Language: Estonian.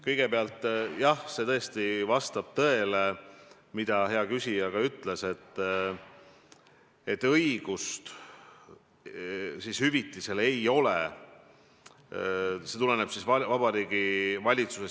Kõigepealt, jah, vastab tõele, mida hea küsija ütles, et õigust hüvitist saada ei ole, kui minister astub tagasi omal soovil.